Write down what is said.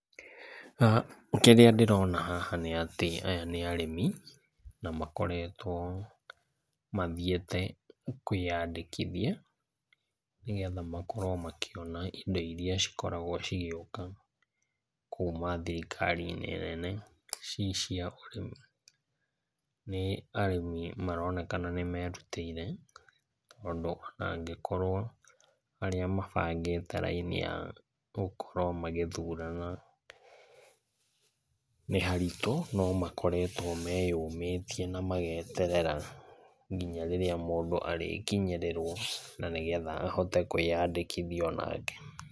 Ah kĩrĩa ndĩrona haha nĩ atĩ aya nĩ arĩmi na makoretwo mathiĩte kwĩyandĩkithia nĩgetha makorwo makĩona indo iria cikoragwo cigĩũka kuma thirikari-inĩ nene cicia ũrĩmi. Nĩ arĩmi maronekana nĩmerutĩire tondũ angĩkorwo arĩa mabangĩte raini ya gũkorwo magĩthurana nĩ haritũ no makoretwo meyũmĩtie na mageterera nginya rĩrĩa mũndũ arĩkinyĩrĩrwo na nĩgetha ahote kwĩyandĩkithia onake.